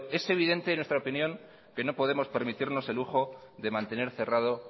es evidente en nuestra opinión que no podemos permitirnos el lujo de mantener cerrado